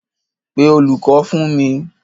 Pé olùkọ́ fún mi.